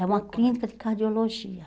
É uma clínica de cardiologia.